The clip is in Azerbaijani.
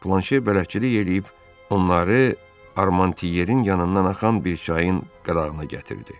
Planşe bələdçilik eləyib onları Armantiyerin yanından axan bir çayın qırağına gətirdi.